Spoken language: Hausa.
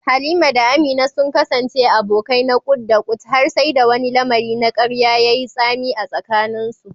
Halima da Amina sun kasance abokai na ƙut-da-ƙut har sai da wani lamari na karya ya yi tsami a tsakaninsu.